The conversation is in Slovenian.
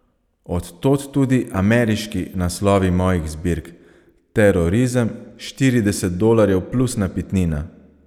Od tod tudi "ameriški" naslovi mojih zbirk: "Terorizem", "Štirideset dolarjev plus napitnina".